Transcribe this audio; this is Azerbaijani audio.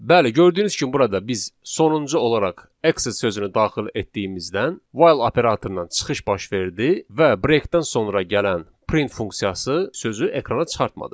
Bəli, gördüyünüz kimi burada biz sonuncu olaraq exit sözünü daxil etdiyimizdən while operatorundan çıxış baş verdi və breakdən sonra gələn print funksiyası sözü ekrana çıxartmadı.